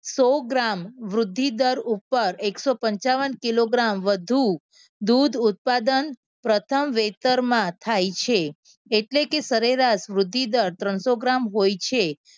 સો gram વૃદ્ધિ દર ઉપર એકસો પંચાવન કિલો ગ્રામ વધુ દૂધ ઉત્પાદન પ્રથમ વેતરમાં થાય છે. એટલે કે સરેરાશ વૃદ્ધિદર ત્રણસો ગ્રામ હોય છે.